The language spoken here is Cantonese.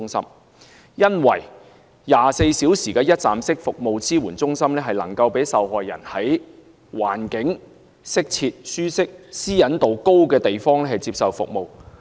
首先 ，24 小時一站式服務支援中心能夠讓受害人在環境適切、舒適、私隱度高的地方接受服務。